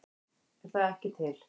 Er það ekki til?